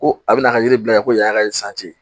Ko a bɛna ka yiri bila ko yan'a ka